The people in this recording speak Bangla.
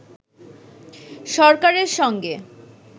সরকারের সঙ্গে